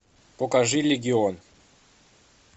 покажи легион